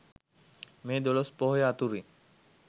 මේ දොළොස් පොහොය අතුරින්